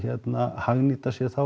hagnýta sér þá